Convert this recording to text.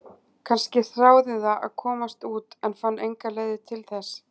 Kannski þráði það að komast út en fann engar leiðir til þess?